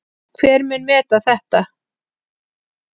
Hver mun meta þetta?